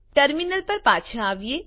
terminal પર પાછા આવીએ